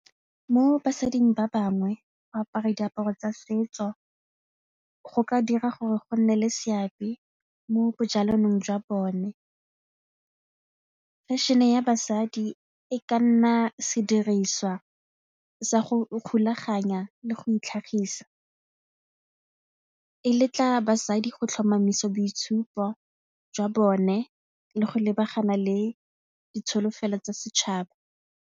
Mo basading ba bangwe go apara diaparo tsa setso go ka dira gore go nne le seabe mo jwa bone, fashion-e ya basadi e ka nna sediriswa sa go ikgolaganya le go itlhagisa, e letla basadi go tlhomamisa boitshupo jwa bone le go lebagana le ditsholofelo tsa setšhaba.